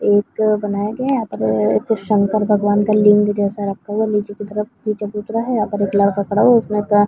एक बनाया गया है यहाँ पर एक शंकर भगवान का लिंग जैसा रखा हुआ है नीचे की तरफ चबूतरा है यहाँ पर एक लड़का खड़ा हुआ है उसने ग--